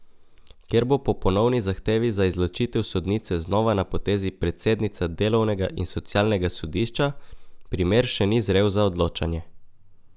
Ker bo po ponovni zahtevi za izločitev sodnice znova na potezi predsednica delovnega in socialnega sodišča, primer še ni zrel za odločanje.